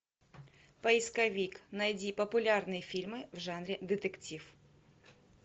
поисковик найди популярные фильмы в жанре детектив